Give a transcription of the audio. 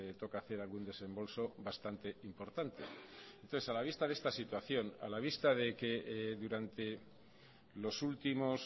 toca hacer algún desembolso bastante importante entonces a la vista de esta situación a la vista de que durante los últimos